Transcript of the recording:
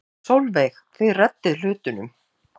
Sólveig: Þið reddið hlutunum?